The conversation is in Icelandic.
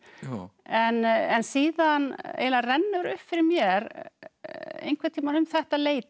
en síðan eiginlega rennur upp fyrir mér einhvern tímann um þetta leyti